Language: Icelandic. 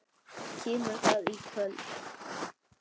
Kemur það í kvöld?